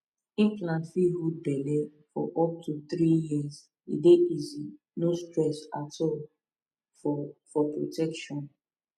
implant fit hold belle for up to three years e dey easy no stress at all for for protection